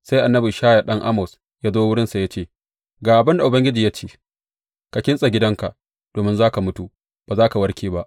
Sai annabi Ishaya ɗan Amoz ya zo wurinsa ya ce, Ga abin da Ubangiji ya ce, ka kintsa gidanka domin za ka mutu, ba za ka warke ba.